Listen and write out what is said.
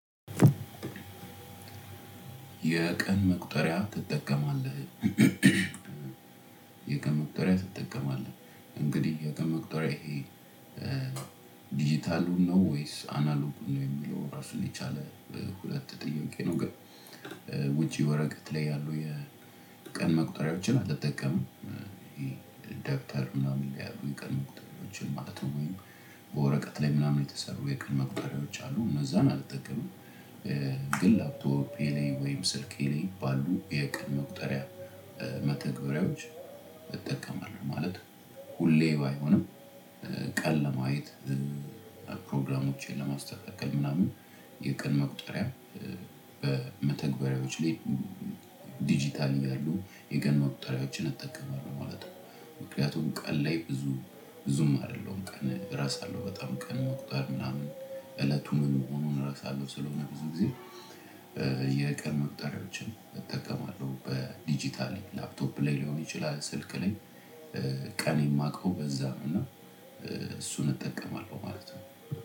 የቀን መቁጠሪያ ትጠቀማለህ? የቀን መቁጠሪያ ትጠቀማለህ? እንግዲህ የቀን መቁጠሪያ ይሄ እ ዲጂታሉን ነው ወይስ አናሎጉን ነው የሚለው ራሱን የቻለ ሁለት ጥያቄ ነው። ግን እ ውጪ ወረቀት ላይ ያሉ የቀን መቁጠሪያዎችን አልጠቀምም። ይሄ ደብተር ምናምን ላይ ያሉ የቀን መቁጠሪያዎችን ማለት ነው ወይ? በወረቀት ላይ ምናምን የተሰሩ የቀን መቁጠሪያዎች አሉ እነዛን አልጠቀሙም። እ ግን ላፕቶፕ ቤሌ ወይ ስልኬ ላይ ቀን መቁጠሪያ እ መተግበሪያዎች እጠቀማለሁ። ማለት ሁሌ ባይሆንም እ ቀን ለማየት እ ፕሮግራሞቼን ለማስተካከል ምናምን የቀን መቁጠሪያ እ በመተግበሪያዎች ላይ ዲጂታል እያሉ የቀን መቁጠሪያዎችን እጠቀማለሁ ማለት ነው። ምክንያቱም ቀን ላይ ብዙ ብዙም አይደለሁም ቀን ረሳለሁ በጣም ቀን መቁጠር ምናምን እለቱን የሚሆነውን ረሳለሁ። ስለሆነ ብዙ ጊዜ እ የቀን መቁጠሪያዎችን እጠቀማለሁ በዲጂታልይ ላፕቶፕ ላይ ሊሆን ይችላል። ስልክ ላይ ቀን የማውቀው በዛ እና እ እሱን እጠቀማለሁ ማለት ነው።